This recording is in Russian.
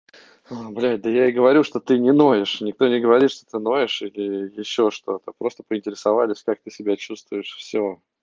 блять да я и говорю что ты не ноешь никто не говорит что ты ноешь или ещё что-то просто поинтересовались как ты себя чувствуешь все